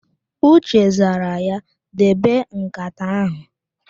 Uche zara ya, "debe ǹkàtà áhụ̀"!